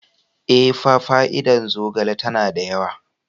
Ee, fa fa'ida zogale tana da yawa.